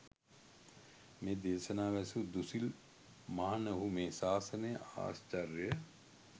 මේ දේශනාව ඇසූ දුසිල් මහණහු මේ ශාසනය ආශ්චය්‍යය